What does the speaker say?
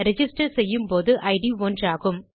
register செய்யும் போது it ஒன்றாகும்